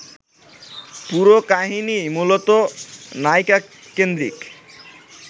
পুরো কাহিনিই মূলত নায়িকাকেন্দ্রিক